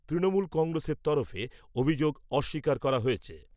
তৃণমূল কংগ্রেসের তরফে অভিযোগ অস্বীকার করা হয়েছে।